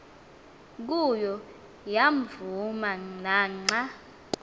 kuyo yavuma naxa